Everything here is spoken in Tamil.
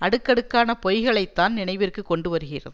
அடுக்கடுக்கான பொய்களைத்தான் நினைவிற்கு கொண்டுவருகிறது